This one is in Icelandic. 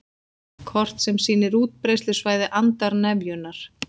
Kort sem sýnir útbreiðslusvæði andarnefjunnar